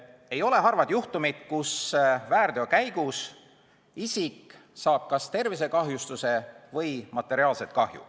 Ei ole harvad juhtumid, kus väärteo käigus isik saab kas tervisekahjustuse või materiaalset kahju.